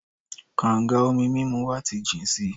Kànga omi mímu wa ti jìn si.